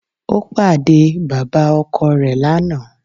Ó pàdé e bàbá ọkọ rè lánàá